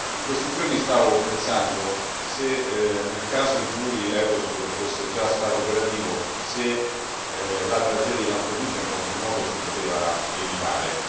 In questi giorni stavo pensando nel caso in cui Eurosur fosse già stato operativo se la tragedia di Lampedusa, in qualche modo, si poteva evitare.